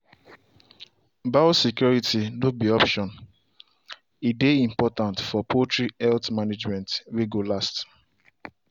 biosecurity no be option - e dey important for poultry health management way go last.